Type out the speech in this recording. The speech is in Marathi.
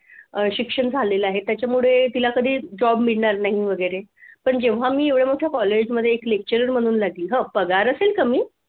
अह शिक्षण झालेल आहे त्याच्यामुळे तिला कधी job मिळणार नाही वगैरे पण जेव्हा मी एवढं मोठं college मध्ये एक lecturer म्हणून लागली हम्म पगार असेल कमी